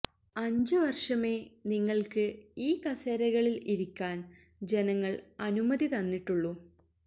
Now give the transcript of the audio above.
അഞ്ച് വര്ഷമേ നിങ്ങള്ക്ക് ഈ കസേരകളില് ഇരിക്കാന് ജനങ്ങള് അനുമതി തന്നിട്ടുള്ളൂ